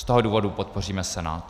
Z toho důvodu podpoříme Senát.